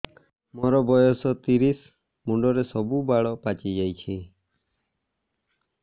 ମୋର ବୟସ ତିରିଶ ମୁଣ୍ଡରେ ସବୁ ବାଳ ପାଚିଯାଇଛି